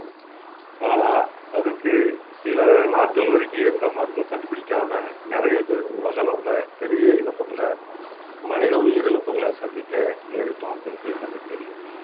ஆனா அதுக்கு சில நாட்கள் வரைக்கும் எந்த மருந்தும் கண்டுபிடிக்காம நிறைய பேர் உலக அளவுல பெரிய இழப்புகளை மனித உயிரிழப்புகளை சந்திக்க நேரிட்டோம் உங்களுக்கு எல்லாமே தெரியும்